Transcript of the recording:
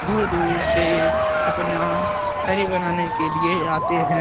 दूर दूर से अपना बनाने के लिए आते हैं ।